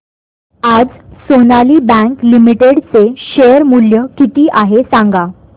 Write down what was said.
आज Sonali bank limited चे share मूल्य किती आहे सांगा